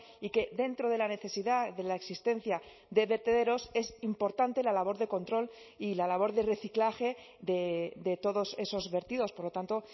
y que dentro de la necesidad de la existencia de vertederos es importante la labor de control y la labor de reciclaje de todos esos vertidos por lo tanto